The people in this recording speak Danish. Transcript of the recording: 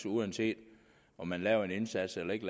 uanset om man lavede en indsats eller ikke